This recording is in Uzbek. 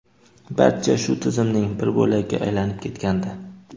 barcha shu tizimning bir bo‘lagiga aylanib ketgandi.